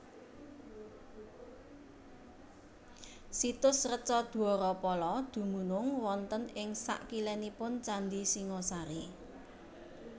Situs Reca Dwarapala dumunung wonten ing sakilénipun Candhi Singhasari